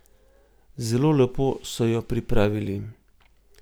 Zelo lepo so jo pripravili.